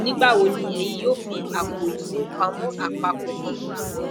nigbawo ni eyin yoo ni apo ifowopamo apapọ kan